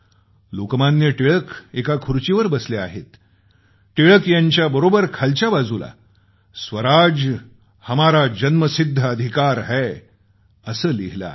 लोकमान्य टिळक एका खुर्चीवर बसले आहेत टिळक यांच्या बरोबर खालच्या बाजूला स्वराज हमारा जन्मसिद्ध अधिकार है असं लिहिलं आहे